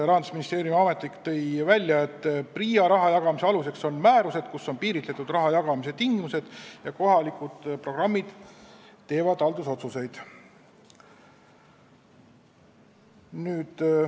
Rahandusministeeriumi ametnik tõi välja, et PRIA raha jagamise aluseks on määrused, kus on piiritletud raha jagamise tingimused, ja kohalikud programmiüksused teevad haldusotsuseid.